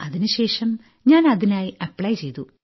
അതിനുശേഷം ഞാൻ അതിനായി ആപ്ലി ചെയ്തു